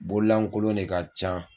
Bonlankolon ne ka can